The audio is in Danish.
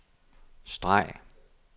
streg